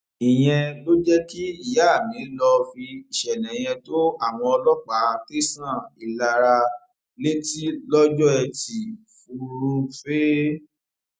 ìyẹn ló jẹ kí ìyá mi lọọ fi ìṣẹlẹ yẹn tó àwọn ọlọpàá tẹsán ìlara létí lọjọ etí furuufee